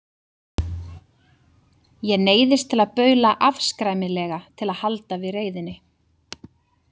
Ég neyðist til að baula afskræmilega til að halda við reiðinni.